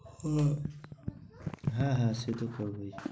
হ্যাঁ হ্যাঁ সেটা তো হবেই।